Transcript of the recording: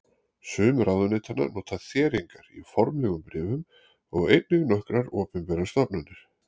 Sum ráðuneytanna nota þéringar í formlegum bréfum og einnig nokkrar opinberar stofnanir.